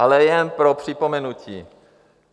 Ale jen pro připomenutí.